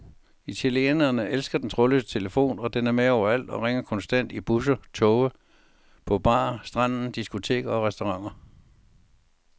Italienerne elsker den trådløse telefon, og den er med overalt og ringer konstant i busser, toge, på bar, stranden, diskoteker og restauranter.